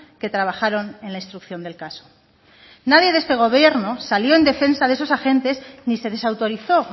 que trabajaron en la instrucción del caso nadie de este gobierno salió en defensa de esos agentes ni se desautorizó